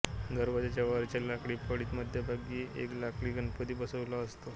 दरवाज्याच्या वरच्या लाकडी फळीत मध्यभागी एक लाकडी गणपती बसवलेला असतो